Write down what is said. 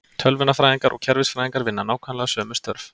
Tölvunarfræðingar og kerfisfræðingar vinna nákvæmlega sömu störf.